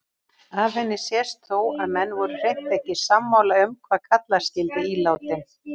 Af henni sést þó að menn voru hreint ekki sammála um hvað kalla skyldi ílátin.